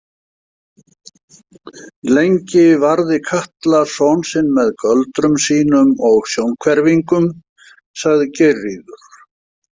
Lengi varði Katla son sinn með göldrum sínum og sjónhverfingum, sagði Geirríður.